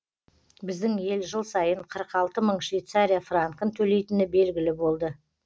біздің ел жыл сайын қырық алты мың швейцария франкін төлейтіні белгілі болды